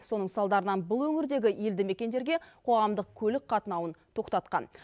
соның салдарынан бұл өңірдегі елді мекендерге қоғамдық көлік қатынауын тоқтатқан